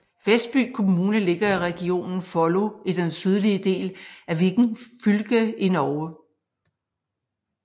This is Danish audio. Vestby kommune ligger i regionen Follo i den sydlige del af Viken fylke i Norge